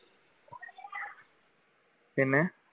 പിന്നെ